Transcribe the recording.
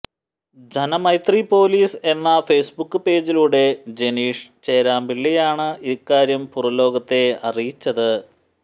Janamaithri police എന്ന Facebook പേജിലൂടെ ജെനീഷ് ചേരാമ്പിളളിയാണ് ഇക്കാര്യം പുറംലോകത്തെ അറിയിച്ചത്